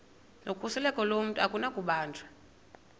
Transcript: nokhuseleko lomntu akunakubanjwa